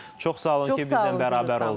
Çox sağ olun ki, bizimlə bərabər qaldınız.